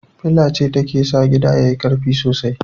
Fila ce take sa gida yayi karfi sosai